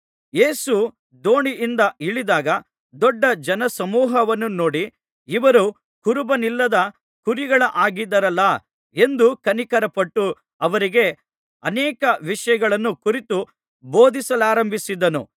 ಯೇಸು ದೋಣಿಯಿಂದ ಇಳಿದಾಗ ದೊಡ್ಡ ಜನಸಮೂಹವನ್ನು ನೋಡಿ ಇವರು ಕುರುಬನಿಲ್ಲದ ಕುರಿಗಳ ಹಾಗಿದ್ದಾರಲ್ಲಾ ಎಂದು ಕನಿಕರಪಟ್ಟು ಅವರಿಗೆ ಅನೇಕ ವಿಷಯಗಳನ್ನು ಕುರಿತು ಬೋಧಿಸಲಾರಂಭಿಸಿದನು